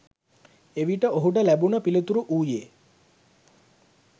එවිට ඔහුට ලැබුණ පිළිතුර වූයේ